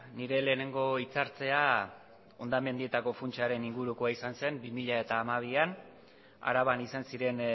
nire lehenengo hitz hartzea hondamendietako funtsaren ingurukoa izan zen bi mila hamabian araban izan ziren